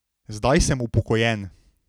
Zdaj sem upokojen.